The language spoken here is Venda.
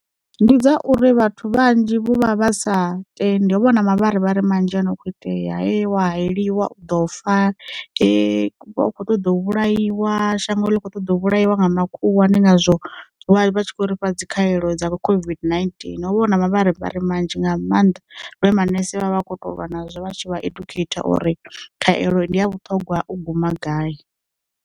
Ndi dzauri vhathu vhanzhi vho vha sa tendi ho vha na mavharivhari manzhi ano kho itea he wa hayeliwa u ḓo fa, vha u kho ṱoḓa vhulaiwa shango ḽi kho ṱoḓa vhulaiwa nga na khulwane ndi ngazwo vha tshi khou ri fha dzi khaelo dzavho COVID-19, ho vho hu na mavharivhari manzhi nga maanḓa lune manese vha vha kho to lwa nazwo vha tshi vha edukheitha uri, khavhelo ndi a vhuṱhongwa u guma gai.